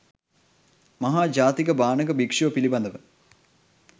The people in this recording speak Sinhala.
මහා ජාතක භාණක භික්‍ෂුව පිළිබඳව